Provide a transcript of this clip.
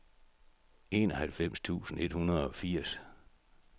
enoghalvfems tusind et hundrede og firs